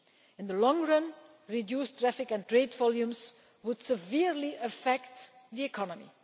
In the long run, reduced traffic and trade volumes would severely affect the economy.